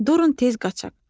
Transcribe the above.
Durun tez qaçaq.